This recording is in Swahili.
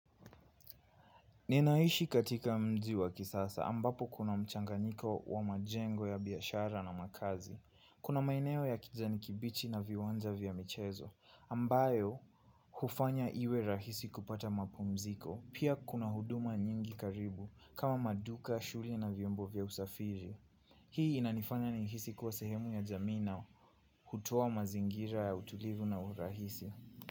Ninaishi katika mji wa kisasa ambapo kuna mchanganyiko wa majengo ya biashara na makazi kuna maeneo ya kijani kibichi na viwanja vya michezo ambayo hufanya iwe rahisi kupata mapumziko pia kuna huduma nyingi karibu kama maduka, shule na viombo vya usafiri hii inanifanya nihisi kuwa sehemu ya jamii na hutoa mazingira ya utulivu na urahisi.